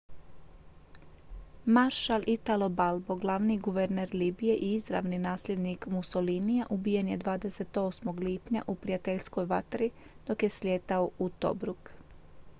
maršal italo balbo glavni guverner libije i izravni nasljednik mussolinija ubijen je 28. lipnja u prijateljskoj vatri dok je slijetao u tobruk